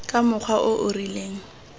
ka mokgwa o o rileng